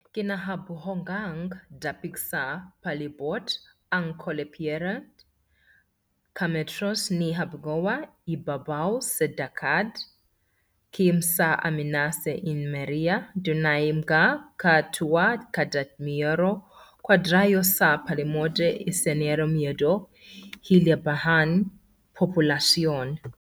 Kinahabogang dapit sa palibot ang Colle Pietrereie, ka metros ni kahaboga ibabaw sa dagat, km sa amihanan sa Isernia. Dunay mga ka tawo kada kilometro kwadrado sa palibot sa Isernia medyo hilabihan populasyon.